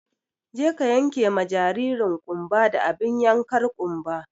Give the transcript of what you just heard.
Je ka yenke ma jaririn ƙumba da abin yankar ƙumba!